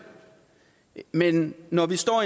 men når vi står